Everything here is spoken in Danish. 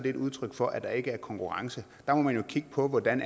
et udtryk for at der ikke er konkurrence der må man jo kigge på hvordan